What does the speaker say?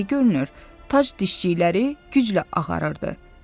tac dişçikləri güclə ağarırdı.